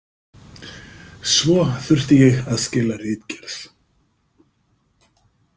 Svo þurfti ég að skila ritgerð.